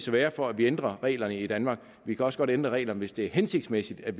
være for at vi ændrer reglerne i danmark vi kan også ændre reglerne hvis det er hensigtsmæssigt at